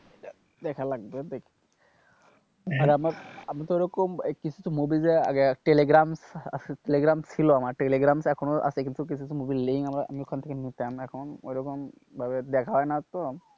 দেখা লাগবে আর আমার আমিতো ওরকম কিছু কিছু movie জে আগে টেলিগ্রাম, টেলিগ্রাম ছিল আমার টেলিগ্রাম এখনো আছে কিন্তু কিছু কিছু মুভির link আমি ওখান থেকে নিতাম এখন ওরকম ভাবে দেখা হয় না তো,